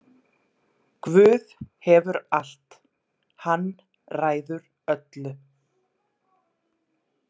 Guð hefur allt, hann ræður öllu.